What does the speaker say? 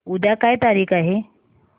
उद्या काय तारीख आहे